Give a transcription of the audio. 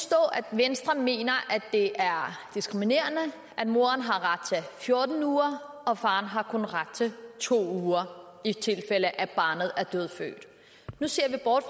venstre mener at det er diskriminerende at moren har ret til fjorten uger og faren kun har ret til to uger i tilfælde af at barnet er dødfødt nu ser vi bort